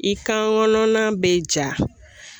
I kan gɔnɔna be ja